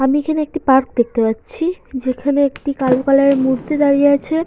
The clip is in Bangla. আমি এখানে একটি পার্ক দেখতে পাচ্ছি যেখানে একটি কালো কালার এর মূর্তি দাঁড়িয়ে আছে।